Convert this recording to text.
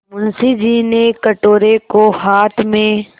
मुंशी जी ने कटोरे को हाथ में